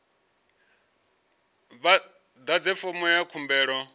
vha ḓadze fomo ya khumbelo